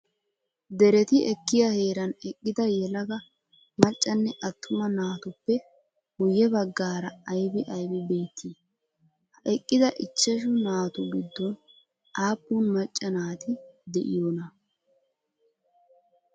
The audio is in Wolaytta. Dereti ekkiyaa heeran eqqida yelaga maccanne attuma naatuppe guye baggaara aybi aybi beettii? Ha eqqida ichchashu naatu giddon aappun macca naati de'iyoonaa?